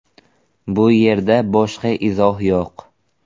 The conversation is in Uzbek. Bu yerda boshqa izoh yo‘q.